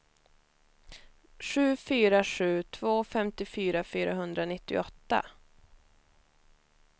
sju fyra sju två femtiofyra fyrahundranittioåtta